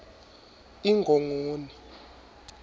ingongoni